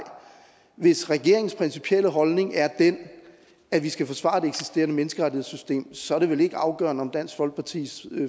hvis regeringens principielle holdning er den at vi skal forsvare det eksisterende menneskerettighedssystem så er det vel ikke afgørende om dansk folkepartis